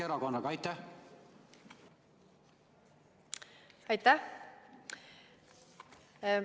Aitäh!